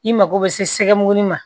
I mago bɛ se mun ma